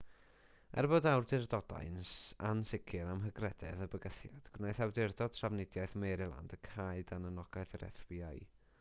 er bod awdurdodau'n ansicr am hygrededd y bygythiad gwnaeth awdurdod trafnidiaeth maryland y cau dan anogaeth yr fbi